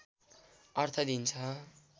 अर्थ दिन्छ